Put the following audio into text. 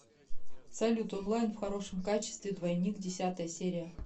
салют онлайн в хорошем качестве двойник десятая серия